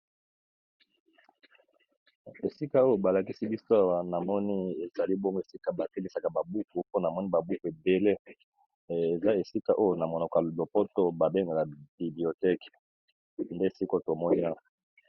Esika oyo balakisi biso awa na moni ezali bongo esika batekisaka babuku, mpona moni babuku edele eza esika oyo na monoko ya lopoto babengaka biblioteke nde siko tomoni awa.